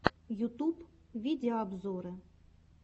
ютуб видеообзоры